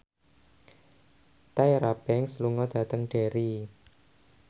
Tyra Banks lunga dhateng Derry